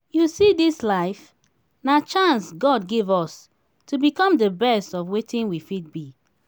you see dis life? na chance god give us to become the best of wetin we fit be